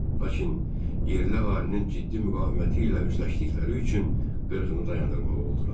Lakin yerli əhalinin ciddi müqaviməti ilə üzləşdikləri üçün qırğını dayandırmalı oldular.